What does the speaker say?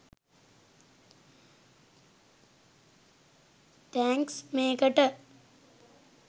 thanks මේකට